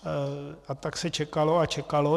A tak se čekalo a čekalo.